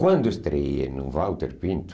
Quando estreei no Walter Pinto,